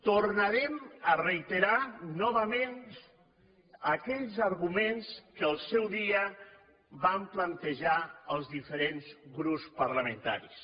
tornarem a reiterar novament aquells arguments que al seu dia vam plantejar els diferents grups parlamentaris